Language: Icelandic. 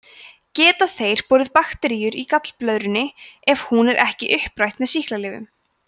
geta þeir borið bakteríuna í gallblöðrunni ef hún er ekki upprætt með sýklalyfjum